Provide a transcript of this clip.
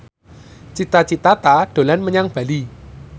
Cita Citata dolan menyang Bali